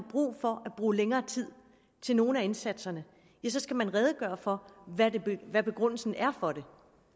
brug for længere tid til nogle af indsatserne ja så skal man redegøre for hvad begrundelsen er for det